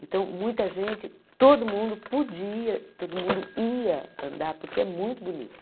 Então, muita gente, todo mundo podia, todo mundo ia andar, porque é muito bonito.